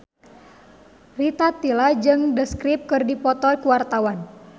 Rita Tila jeung The Script keur dipoto ku wartawan